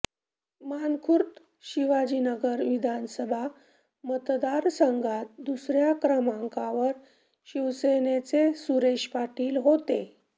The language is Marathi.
मानखुर्द शिवाजीनगर विधानसभा मतदारसंघात दुसऱ्या क्रमांकावर शिवसेनेचे सुरेश पाटील होते